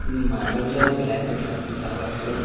उम्म marble जो है black colour का पुतला वाइट कलर का --